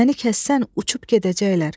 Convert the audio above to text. Məni kəssən uçub gedəcəklər.